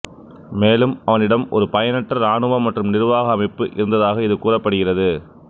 மேலும் அவனிடம் ஒரு பயனற்ற இராணுவ மற்றும் நிர்வாக அமைப்பு இருந்ததாக இது கூறப்படுகிறது